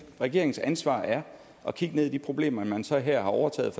regeringens ansvar er at kigge ned i de problemer man så her har overtaget